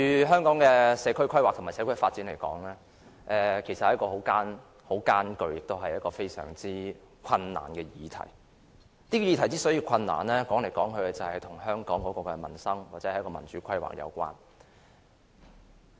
香港的社區規劃和社區發展都是很艱巨的議題，這個議題之所以艱巨，歸根究底是與香港的民生或民主規劃有關。